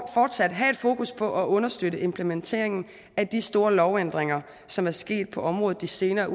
fortsat have fokus på at understøtte implementeringen af de store lovændringer som er sket på området de senere